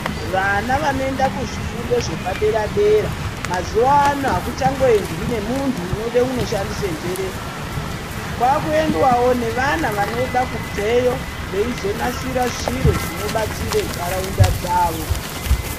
Vana vanoenda ku zvifundo zvepa dera dera mazuva ano akuchango endwi ne muntu unoda kundo shandisa njere kwaku endwawo ne vana vanoda kubveyo veizo nasira zviro zvinobatsire ndaraunda dzavo.